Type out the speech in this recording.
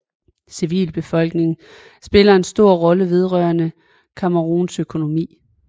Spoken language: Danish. Civilbefolkningen spiller en stor rolle vedrørende Camerouns økonomi